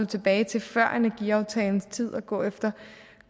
tilbage til før energiaftalens tid og gå efter